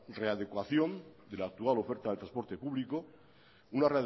readecuación de la actual oferta de transporte público una